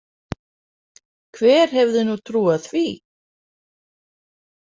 Hver hefði nú trúað því?